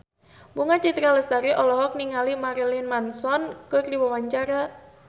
Bunga Citra Lestari olohok ningali Marilyn Manson keur diwawancara